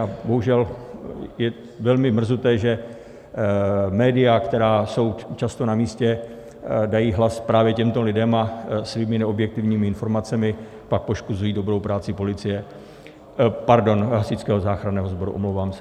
A bohužel je velmi mrzuté, že média, která jsou často na místě, dají hlas právě těmto lidem a svými neobjektivními informacemi pak poškozují dobrou práci policie - pardon, Hasičského záchranného sboru, omlouvám se.